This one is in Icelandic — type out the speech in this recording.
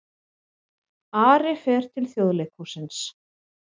Ari fer til Þjóðleikhússins